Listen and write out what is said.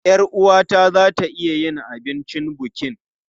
Yar uwata za ta iya yin abincin bukin.